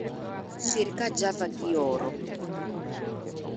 Sir ka java gioro